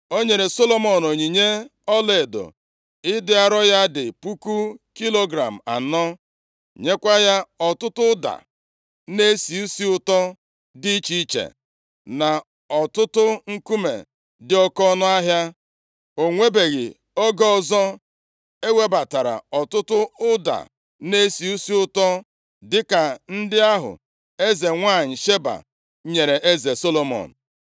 O nyere Solomọn onyinye ọlaedo ịdị arọ ya dị puku kilogram anọ, + 10:10 Talenti dị narị na iri abụọ nyekwa ya ọtụtụ ụda na-esi isi ụtọ dị iche iche, na ọtụtụ nkume dị oke ọnụahịa. O nwebeghị oge ọzọ ewebatara ọtụtụ ụda na-esi isi ụtọ dịka ndị ahụ eze nwanyị Sheba nyere eze Solomọn.